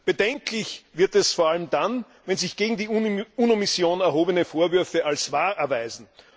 Bedenklich wird es vor allem dann, wenn sich gegen die UNO Mission erhobene Vorwürfe als wahr erweisen.